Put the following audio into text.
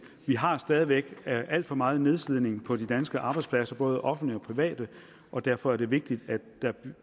vi har stadig væk alt for meget nedslidning på de danske arbejdspladser både offentlige og private og derfor er det vigtigt at der